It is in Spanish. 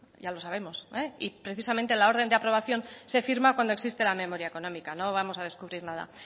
ya lo sabemos y precisamente la orden de aprobación se firma cuando existe la memoria económica no vamos a descubrir nada